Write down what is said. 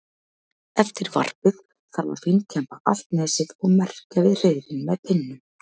Eftir varpið þarf að fínkemba allt nesið og merkja við hreiðrin með pinnum.